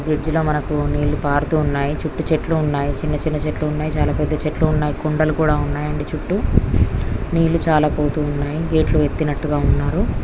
Bridge లో మనకు నీళ్లు పారుతున్నాయ్. చుట్టు చెట్లు ఉన్నాయి. చిన్న చిన్న చెట్లు ఉన్నాయి. చాలా పెద్ద చెట్లు ఉన్నాయి. కొండలు కూడా ఉన్నాయి అండి చుట్టూ నీళ్లు చాలా పోతున్నాయి. గేట్స్ ఎత్తినట్టు ఉన్నారు.